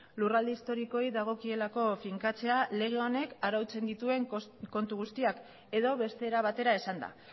lurralde historikoei dagokielako finkatzea lege honek arautzen dituen kontu guztiak edo beste era batera esanda